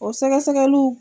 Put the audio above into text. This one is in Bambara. O sɛgɛsɛgɛliw